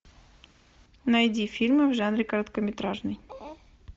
найди фильмы в жанре короткометражный